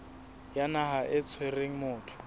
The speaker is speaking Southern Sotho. ya naha e tshwereng motho